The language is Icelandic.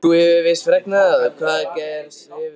Þú hefur víst fregnað hvað gerst hefur?